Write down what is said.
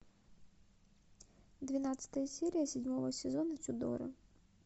двенадцатая серия седьмого сезона тюдоры